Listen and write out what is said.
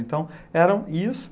Então, era isso...